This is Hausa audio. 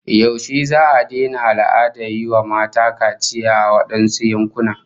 Yaushe za'a daina al'adar yi wa mata kaciya a wadansu yankunan?